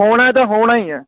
ਹੋਣਾ ਏ ਤੇ ਹੋਣਾ ਹੀ ਏ